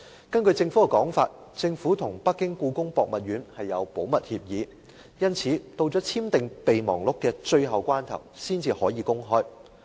根據政府的說法，政府跟北京故宮博物院簽有保密協議，因此到了簽訂《合作備忘錄》的最後關頭才能公開。